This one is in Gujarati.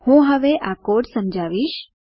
હું હવે કોડ સમજાવીશ